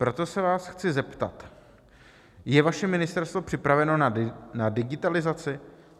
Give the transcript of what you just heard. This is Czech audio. Proto se vás chci zeptat: Je vaše ministerstvo připraveno na digitalizaci?